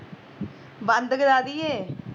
ਬੰਦ ਕਰਾਦੀਏ